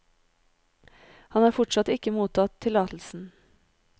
Han har fortsatt ikke mottatt tillatelsen.